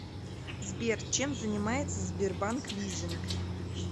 сбер чем занимается сбербанк лизинг